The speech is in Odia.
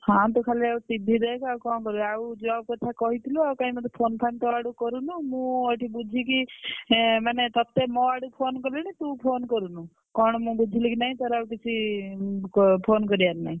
ହଁ ତୁ ଖାଲି ଆଉ TV ଦେଖେ ଆଉ କଣ କରିବୁ? ଆଉ job କଥା କହିଥିଲୁ ଆଉ କାଇଁ phone ଫାନ ତୋ ଆଡୁ କରୁନୁ ମୁଁ ଏଠି ବୁଝିକି ହେ ମାନେ ତତେ ମୋ ଆଡୁ phone କଲିଣି ତୁ phone କରୁନୁ କଣ? ମୁଁ ବୁଝିଲି କି ନାଇ ତୋର ଆଉ କିଛି phone କରିବାର ନାଇଁ।